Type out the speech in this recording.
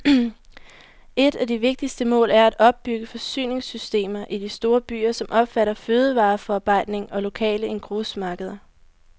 Et af de vigtigste mål er at opbygge forsyningssystemer i de store byer, som omfatter fødevareforarbejdning og lokale engrosmarkeder.